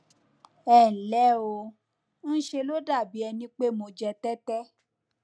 ẹ nlẹ o ńṣe ló dàbí ẹni pé mo jẹ tẹtẹ